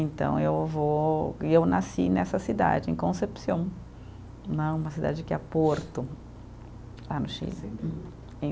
Então, eu vou e eu nasci nessa cidade, em Concepción né, uma cidade que é Porto, lá no Chile